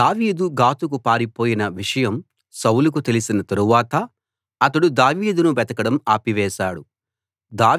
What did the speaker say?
దావీదు గాతుకు పారిపోయిన విషయం సౌలుకు తెలిసిన తరువాత అతడు దావీదును వెతకడం ఆపివేశాడు